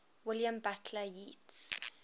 william butler yeats